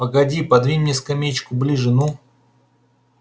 погоди подвинь мне скамеечку ближе ну